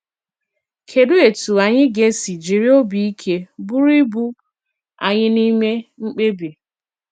Kedụ etú anyị ga esi jiri obi ike buru ibu anyị n’ime mkpebi?